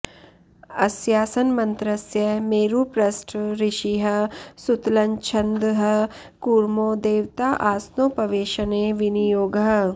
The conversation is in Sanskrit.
अस्यासनमन्त्रस्य मेरुपृष्ठ ऋषिः सुतलञ्छन्दः कूर्मो देवता आसनोपवेशने विनियोगः